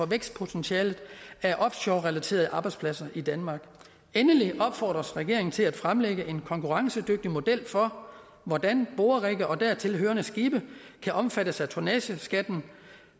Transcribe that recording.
vækstpotentialet af offshorerelaterede arbejdspladser i danmark endelig opfordres regeringen til at fremlægge en konkurrencedygtig model for hvordan borerigge og dertil hørende skibe kan omfattes af tonnageskatten